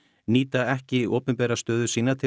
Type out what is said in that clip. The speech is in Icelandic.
nýta ekki opinbera stöðu sína til